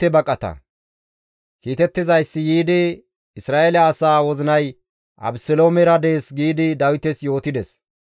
Kiitettizayssi yiidi, «Isra7eele asaa wozinay Abeseloomera dees» giidi Dawites yootides.